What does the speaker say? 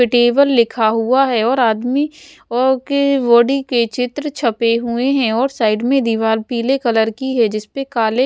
table लिखा हुआ है और आदमी और के बॉडी के चित्र छपे हुए हैं और साइड में दीवाल पीले कलर की है जिसपे काले --